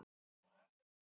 Skyldan sjálf